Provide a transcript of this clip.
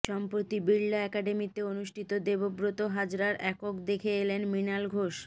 সম্প্রতি বিড়লা অ্যাকাডেমিতে অনুষ্ঠিত দেবব্রত হাজরার একক দেখে এলেন মৃণাল ঘোষ